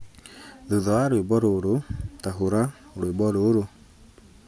Thutha wa rwĩmbo rũrũ, ta hũra rwĩmbo rũrũ